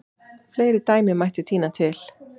Fleiri dæmi mætti tína til.